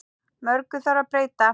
Mörgu þarf að breyta.